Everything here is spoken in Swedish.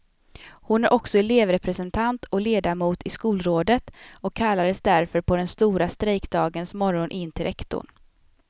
Hon är också elevrepresentant och ledamot i skolrådet och kallades därför på den stora strejkdagens morgon in till rektorn.